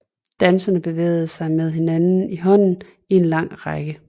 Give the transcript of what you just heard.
Danserne bevæger sig med hinanden i hånden i en lang række